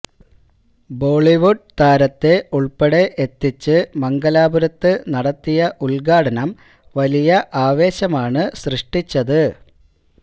Bollywood താരത്തെ ഉൾപ്പടെ എത്തിച്ച് മംഗലാപുരത്ത് നടത്തിയ ഉദ്ഘാടനം വലിയ ആവേശമാണ് ശ്രിഷ്ടിച്ചത്